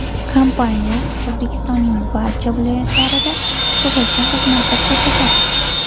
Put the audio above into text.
Kompaniya O‘zbekistonning barcha viloyatlarida sug‘urta xizmati ko‘rsatadi.